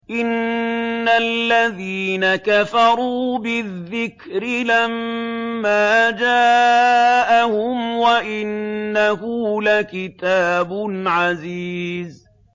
إِنَّ الَّذِينَ كَفَرُوا بِالذِّكْرِ لَمَّا جَاءَهُمْ ۖ وَإِنَّهُ لَكِتَابٌ عَزِيزٌ